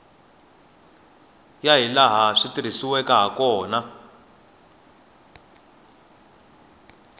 ya hilaha swi tirhisiweke hakona